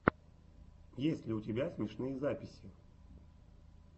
есть ли у тебя смешные записи